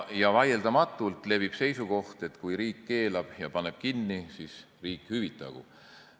Vaieldamatult levib seisukoht, et kui riik keelab ja paneb kinni, siis riik hüvitagu.